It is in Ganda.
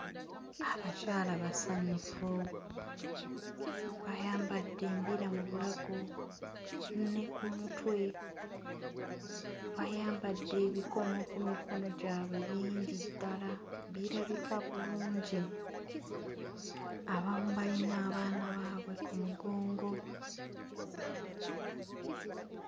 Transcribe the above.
Abakyala basanyufu bayambadde embira mu bulago ne ku mutwe bayambadde ebikomo ku mikono gyabwe bingi ddala birabika bulungi abamu bayina abaana baabwe ku mugongo.